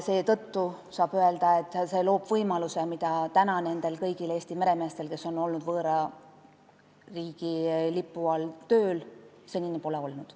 Seetõttu saab öelda, et see loob võimaluse nendele kõigile Eesti meremeestele, kes on olnud võõra riigi lipu all tööl, mida neil senini pole olnud.